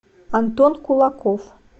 антон кулаков